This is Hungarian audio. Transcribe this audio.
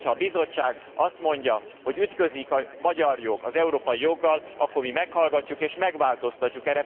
Hogyha a Bizottság azt mondja, hogy ütközik a magyar jog az európai joggal, akkor mi meghallgatjuk és megváltoztatjuk.